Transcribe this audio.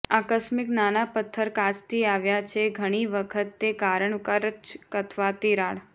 આકસ્મિક નાના પથ્થર કાચથી આવ્યા છે ઘણી વખત તે કારણ કરચ અથવા તિરાડ